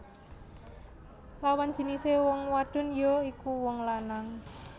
Lawan jinisé wong wadon ya iku wong lanang